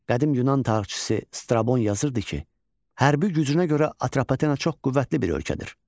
Qədim yunan tarixçisi Strabon yazırdı ki, hərbi gücünə görə Atropatena çox qüvvətli bir ölkədir.